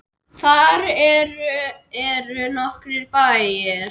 Þar eru nokkrir bæir.